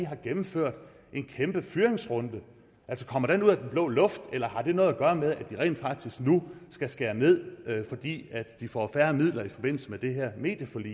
har gennemført en kæmpe fyringsrunde kommer den ud af den blå luft eller har det noget at gøre med at de rent faktisk nu skal skære ned fordi de får færre midler i forbindelse med det her medieforlig